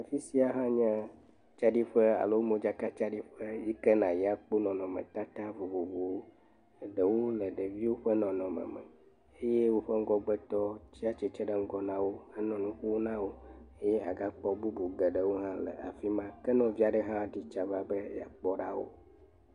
Afisia anye tsaɖiƒe alo modzakatsaɖiƒe yike na yi akpɔ nɔnɔmetata vovovowo, ɖewo le ɖeviwo ƒe nɔnɔme me, eye woƒe ŋgɔgbetɔwo tsiatsitre ɖe ŋgɔ nawo anɔ nuƒo nawo eye agakpɔ bubu geɖewo hã le afima ke nɔvi aɖe hã ɖitsa va be yeakpɔ ɖa wo.